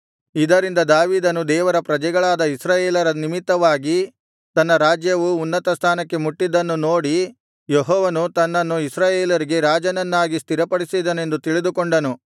ಇದರಿಂದ ದಾವೀದನು ದೇವರ ಪ್ರಜೆಗಳಾದ ಇಸ್ರಾಯೇಲರ ನಿಮಿತ್ತವಾಗಿ ತನ್ನ ರಾಜ್ಯವು ಉನ್ನತ ಸ್ಥಾನಕ್ಕೆ ಮುಟ್ಟಿದ್ದನ್ನು ನೋಡಿ ಯೆಹೋವನು ತನ್ನನ್ನು ಇಸ್ರಾಯೇಲರಿಗೆ ರಾಜನನ್ನಾಗಿ ಸ್ಥಿರಪಡಿಸಿದನೆಂದು ತಿಳಿದುಕೊಂಡನು